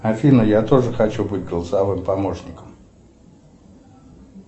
афина я тоже хочу быть голосовым помощником